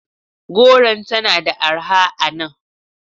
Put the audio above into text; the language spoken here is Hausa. Goron tana da arha a nan.